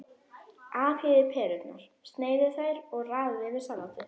Afhýðið perurnar, sneiðið þær og raðið yfir salatið.